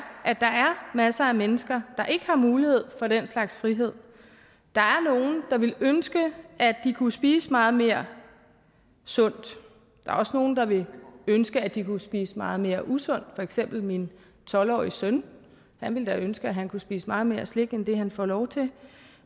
masser af mennesker der ikke har mulighed for den slags frihed der er nogle der ville ønske at de kunne spise meget mere sundt der er også nogle der ville ønske at de kunne spise meget mere usundt for eksempel min tolv årige søn han ville da ønske at han kunne spise meget mere slik end det han får lov til